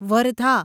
Wardha